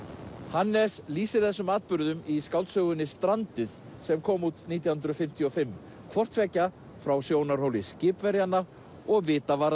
Hannes lýsir þessum atburðum í skáldsögunni strandið sem kom út nítján hundruð fimmtíu og fimm hvort tveggja frá sjónarhóli skipverjanna og